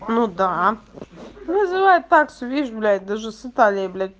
ну да ну называют факсу видишь блядь даже создали блять